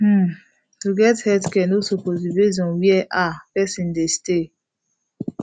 hmm to get healthcare no suppose be base on where ah person dey stay